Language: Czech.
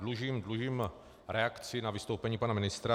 Dlužím reakci na vystoupení pana ministra.